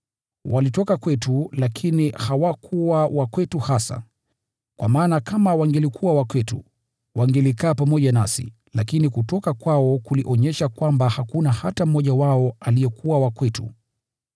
Walitoka kwetu, lakini hawakuwa wa kwetu hasa. Kwa maana kama wangelikuwa wa kwetu, wangelikaa pamoja nasi, lakini kutoka kwao kulionyesha kwamba hakuna hata mmoja wao aliyekuwa wa kwetu.